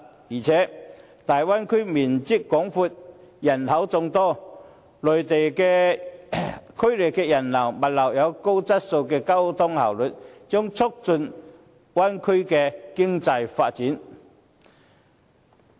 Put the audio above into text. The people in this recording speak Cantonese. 再者，大灣區面積廣闊、人口眾多，區內人流、物流有高質素的交通效率，將促進大灣區的經濟發展。